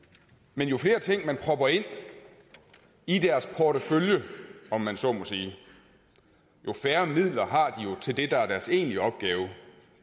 men jo flere ting man propper ind i deres portefølje om man så må sige jo færre midler har de jo til det der er deres egentlige opgave